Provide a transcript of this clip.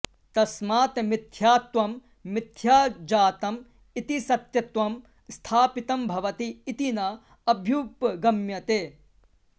तस्मात् मिथ्यात्वं मिथ्या जातम् इति सत्यत्वं स्थापितं भवति इति न अभ्युपगम्यते